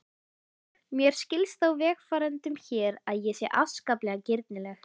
Mér skilst á vegfarendum hér að ég sé afskaplega girnileg.